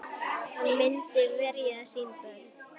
Hann myndi verja sín börn.